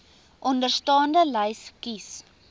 onderstaande lys kies